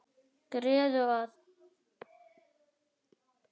Gerðu það!